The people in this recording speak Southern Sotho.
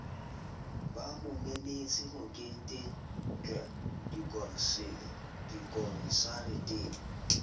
ba mo memetse meketengle dikonsareteng